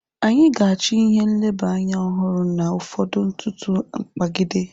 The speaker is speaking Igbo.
Anyị ga-achọ ihe nleba anya ọhụrụ na ụfọdụ ntụtụ mkpagide.